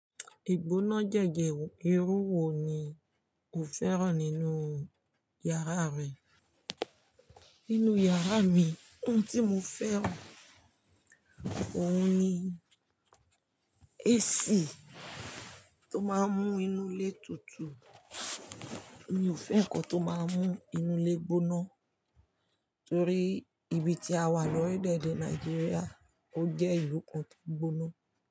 Ìgbóná jẹ́je irú wo ni o fẹ́ràn nínú yàrá rẹ? Nínú yàrá mi, ohun tí mo fẹ́ràn óun ni AC tó máa ń mú inú ilé tutù. Mi ò fẹ́ nǹkan tó máa ń mú inú ilé gbóná torí ibi tí a wà lọ́rilẹ̀ ede Nàìjíríà ó jẹ́ ìlú kan tó gbóná.